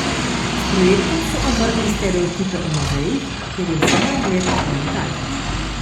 S projektom so ovrgli stereotipe o muzejih, kjer je vse na ogled le od daleč.